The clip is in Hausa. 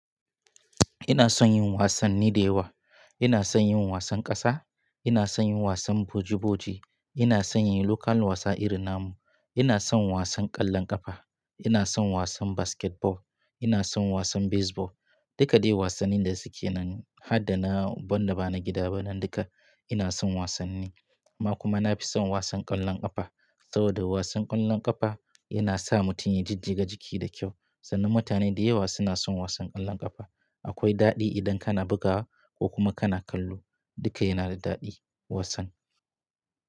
Ina son yin wasanni da yawa. Ina son yin wasan ƙasa, ina son yin wasan boji-boji, ina son yin local wasa irin na mu, ina son wasan ƙwallon ƙafa, ina son wasan basketball, ina son wasan baseball. Duka dai wasannin da suke nan har da na wanda ba na gida ba nan duka ina son wasanni. Amma kuma na fi son wasan ƙwallon ƙafa saboda wasan ƙwallon ƙafa yana sa mutum ya jijjiga jiki da kyau sannan mutane da yawa suna son wasan ƙwallon ƙafa. Akwai daɗi idan kana bugawa ko kuma kana kallo duka yana da daɗi wasan.